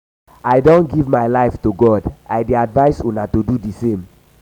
i don give my life to god i dey advice una to do the same